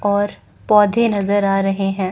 और पौधे नजर आ रहे हैं।